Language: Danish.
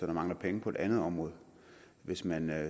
mangler penge på et andet område hvis man